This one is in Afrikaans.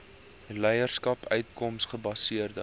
leierskap uitkoms gebaseerde